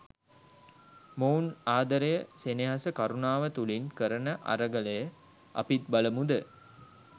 මොවුන් ආදරයසෙනෙහසකරුණාව තුළින් කරන අරගලය අපිත් බලමුද?